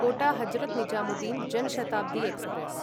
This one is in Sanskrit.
कोट हजरत् निजामुद्दीन् जन शताब्दी एक्स्प्रेस्